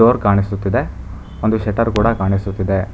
Door ಕಾಣಿಸುತ್ತಿದೆ ಒಂದು shutter ಕೂಡ ಕಾಣಿಸುತ್ತಿದೆ.